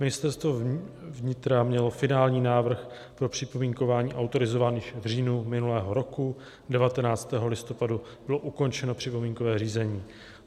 Ministerstvo vnitra mělo finální návrh pro připomínkování autorizovaných v říjnu minulého roku, 19. listopadu bylo ukončeno připomínkové řízení.